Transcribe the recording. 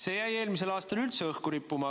See jäi eelmisel aastal üldse õhku rippuma.